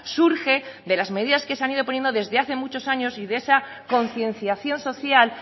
surge de las medidas que se han ido poniendo desde hace muchos años y de esa concienciación social